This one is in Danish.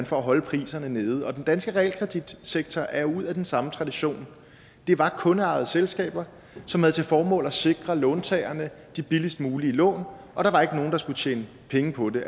for at holde priserne nede den danske realkreditsektor er ud af den samme tradition det var kundeejede selskaber som havde til formål at sikre låntagerne de billigst mulige lån og der var ikke nogen der skulle tjene penge på det